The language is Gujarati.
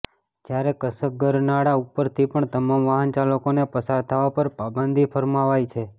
જયારે કસક ગરનાળા ઉપરથી પણ તમામ વાહન ચાલકોને પસાર થવા પર પાબંદી ફરમાવાઈ છે